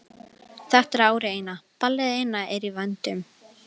Þetta er árið eina, ballið eina er í vændum.